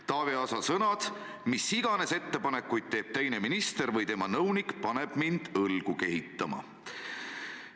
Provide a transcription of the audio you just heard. Taavi Aasa sõnad: "Mis iganes ettepanekuid teeb teine minister või tema nõunik, paneb mind õlgu kehitama.